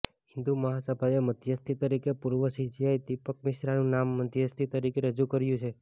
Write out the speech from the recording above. હિંદુ મહાસભાએ મધ્યસ્થી તરીકે પૂર્વ સીજેઆઈ દીપક મિશ્રાનું નામ મધ્યસ્થી તરીકે રજૂ કર્યું છે